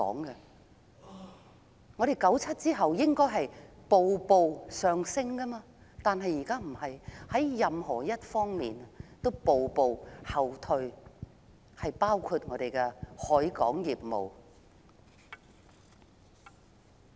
1997年後，香港理應步步上升，但現在卻非如此，香港在任何一方面都步步後退，包括我們的海運業務。